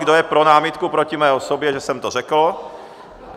Kdo je pro námitku proti mé osobě, že jsem to řekl?